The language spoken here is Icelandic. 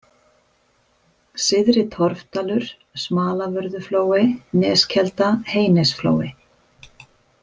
Syðri-Torfdalur, Smalavörðuflói, Neskelda, Heynesflói